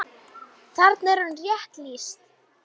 Þarna er honum rétt lýst.